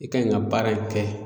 E kaɲi ka baara in kɛ